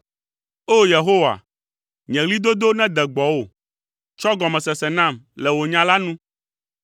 O! Yehowa, nye ɣlidodo nede gbɔwò, tsɔ gɔmesese nam le wò nya la nu.